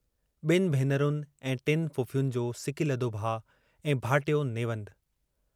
बिन भेनरुनि ऐं टिन फुफुयुनि जो सिकीलधो भाउ ऐं भाइटियो नेवंदु।